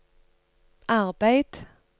arbeid